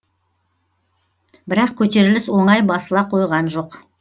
бірақ көтеріліс оңай басыла қойған жоқ